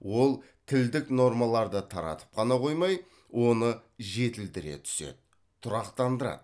ол тілдік нормаларды таратып қана қоймай оны жетілдіре түседі тұрақтандырады